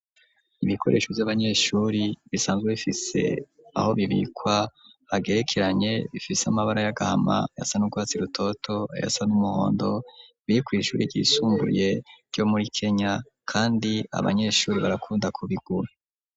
Ibikoresho vy'abanyeshuri bisanzwe bifise aho bibikwa hagerekeranye bifise amabara y'agahama yasa n'urwatsi rutoto yasa n'umuhondo bikuye ishuri ryisumbuye ryo muri Kenya kandi abanyeshuri barakunda ko bigure.